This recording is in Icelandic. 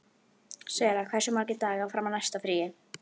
Sera, hversu margir dagar fram að næsta fríi?